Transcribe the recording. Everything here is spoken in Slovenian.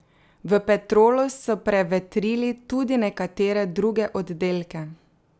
V Petrolu so prevetrili tudi nekatere druge oddelke.